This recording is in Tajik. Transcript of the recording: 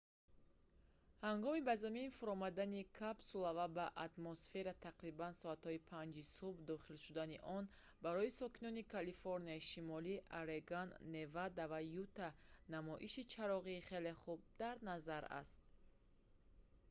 ҳангоми ба замин фуромадани капсула ва ба атмосфера тақрибан соати 5-и субҳ дохил шудани он барои сокинони калифорнияи шимолӣ орегон невада ва юта намоиши чароғии хеле хуб дар назар аст